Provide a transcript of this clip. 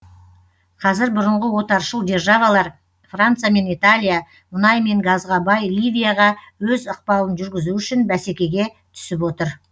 қазір бұрынғы отаршыл державалар франция мен италия мұнай мен газға бай ливияға өз ықпалын жүргізу үшін бәсекеге түсіп отыр